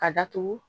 Ka datugu